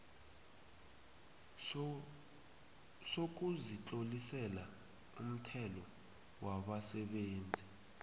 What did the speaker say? sokuzitlolisela umthelo wabasebenzi